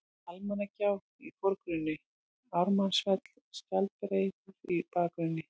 Almannagjá í forgrunni, Ármannsfell og Skjaldbreiður í bakgrunni.